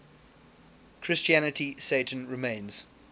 christianity satan remains